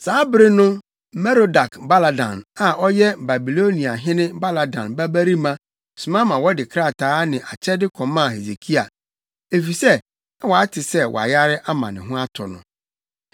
Saa bere no Merodak-Baladan a ɔyɛ Babiloniahene Baladan babarima soma ma wɔde krataa ne akyɛde kɔmaa Hesekia, efisɛ na wate sɛ wayare ama ne ho atɔ no.